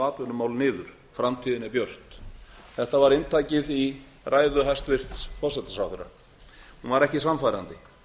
atvinnumál niður framtíðin er björt þetta var inntakið í ræðu hæstvirts forsætisráðherra hún var ekki sannfærandi